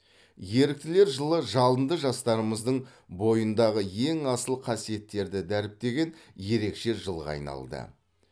еріктілер жылы жалынды жастарымыздың бойындағы ең асыл қасиеттерді дәріптеген ерекше жылға айналды